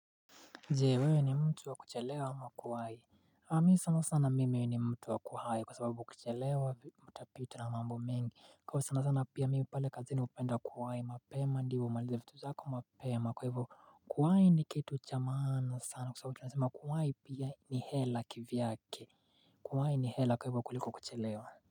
Je wewe ni mtu wa kuchelewa ama kuwahi nami sana sana mimi ni mtu wa kuwahi kwa sababu ukichelewa utapitwa na mambo mengi Kwa sana sana pia mimi pale kazini hupenda kuwahi mapema ndivyo umalize vitu zako mapema kwa hivyo kuwahi ni kitu cha maana sana kwa sababu kuwahi pia ni hela kivyake kuwahi ni hela kwa hivyo kuliko kuchelewa.